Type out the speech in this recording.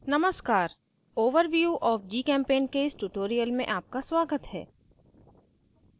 नमस्कार overview of gchempaint के इस tutorial में आपका स्वागत है